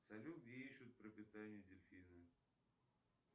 салют где ищут пропитание дельфины